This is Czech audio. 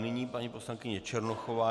Nyní paní poslankyně Černochová.